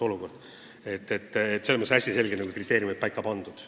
Selles mõttes on kriteeriumid hästi selgelt paika pandud.